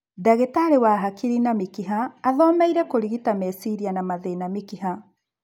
Ndagĩtarĩ wa hakiri na mĩkiha athomeire kũrigita meciria na mathĩna mĩkiha